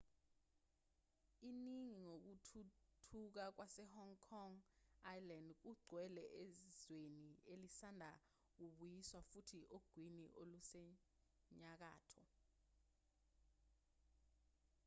iningi kokuthuthuka kwase-hong kong island kugcwele ezweni elisanda kubuyiswa futhi ogwini olusenyakatho